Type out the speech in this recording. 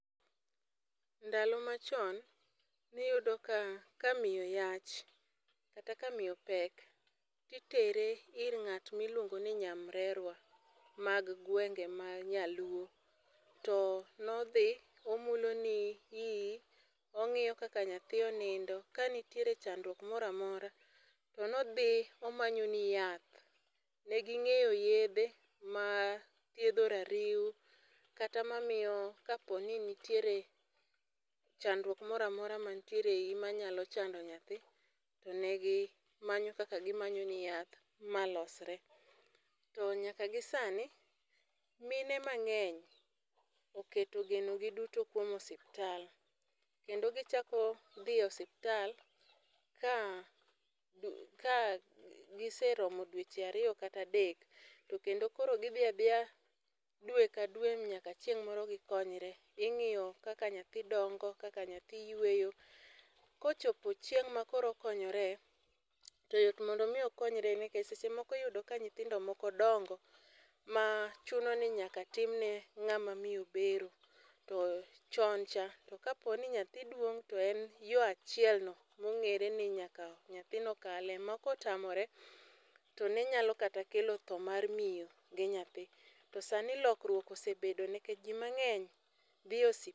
Ndalo machon, ne iyudo ka, ka miyo yach, kata ka miyo pek, to itere ir ngát ma iluongo ni nyamrerwa mag gwenge ma nyaluo. To ne odhi, omulo ni iyi, ongíyoni kaka nyathi onindo. Ka nitie chandruok moro amora, to nodhi omanyoni yath. Ne gingéyo yiedhe mathiedho rariw, kata mamiyo kaponi nitiere chandruok moramora ma nitiere e iyi manyalo chando nyathi, to negi manyo kaka gimanyoni yath ma losre. To nyaka gi sani, mine mangény oketo geno gi duto kuom osiptal, kendo gichako dhi osiptal ka ka giseromo dwech ariyo kata adek, to kendo koro gidhi adhiya dwe ka dwe nyaka chieng'moro gikonyore. Ingiyo kaka nyathi dongo, kaka nyathi yweyo. Kochopo chieng'ma koro okonyore, to yot mondo omi okonyore. Nikech seche moko iyudo ka nyithindo moko dongo, ma chuno ni nyaka timne ngáma miyo bero. To chon cha to kaponi nyathi duong to en yo achiel no mong'ére ni nyaka nyathino kale, ma ka otamore, to ne nyalo kata kelo tho mar miyo gi nyathi. To sani lokruok osebedo nikech ji mangény dhiye.